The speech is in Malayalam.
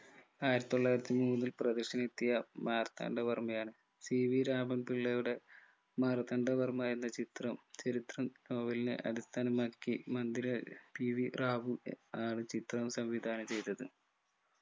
ആയിരത്തിത്തൊള്ളായിരത്തി മൂന്നിൽ പ്രദർശനത്തിനെത്തിയ മാർത്താണ്ഡവർമയാണ് സി വി രാമൻ പിള്ളയുടെ മാർത്താണ്ഡവർമ എന്ന ചിത്രം ചരിത്ര നോവലിനെ അടിസ്ഥാനമാക്കി മന്ദിര പി വി റാവു ഏർ ആണ് ചിത്രം സംവിധാനം ചെയ്തത്